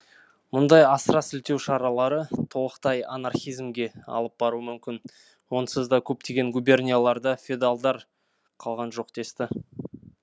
мұндай асыра сілтеу шаралары толықтай анархизмге алып баруы мүмкін онсыз да көптеген губернияларда феодалдар қалған жоқ десті